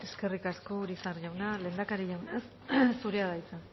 eskerrik asko urizar jauna lehendakari jauna zurea da hitza